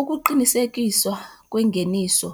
ukuqinisekiswa kwengeniso,